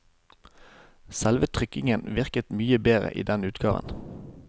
Selve trykkingen virker mye bedre i denne utgaven.